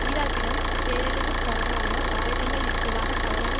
ஈராக்கிடம் பேரழிவுகரமான ஆயுதங்கள் இருப்பதாக தவறான